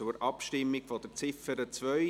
Wir kommen zur Abstimmung betreffend Ziffer 2.